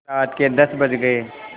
रात के दस बज गये